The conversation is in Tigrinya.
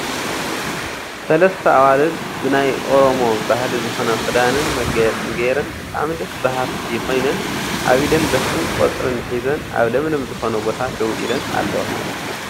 ሰለስተ ኣዋልድ ብ ናይ ኦሮሞ ባህሊ ዝኮነ ክዳንን መጋየፅን ጌረን ብጣዕሚ ደስ በሃልቲ ኮይነን ኣብ ኢደን በትርን ቆፅልን ሒዘን ኣብ ለምለም ዝኮነ ቦታ ደው ኢለን ኣለዋ